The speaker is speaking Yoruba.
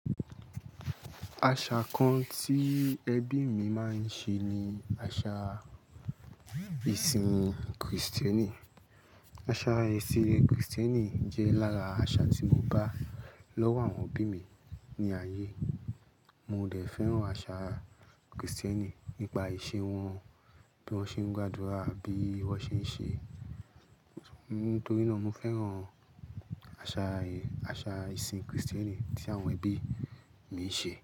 Àṣà kan tí ẹbí mi máa ń ṣe ni àṣà ìsìn Kristẹni. Àṣà ẹ̀sìn Kristẹni jẹ́ lára àṣà tí mo bá lọ́wọ́ àwọn obí mi ní ayé. Mo de fẹ́ràn àṣà Kristẹni nípa ìṣe wọn, bí wọ́n ṣe ń gbàdúrà, bí wọ́n ṣe ń ṣe, nítorí náà mo fẹ́ràn àṣà, àṣà ìsìn Kristẹni tí àwọn ẹbí mi ń ṣe.